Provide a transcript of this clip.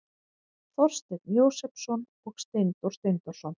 Þorsteinn Jósepsson og Steindór Steindórsson.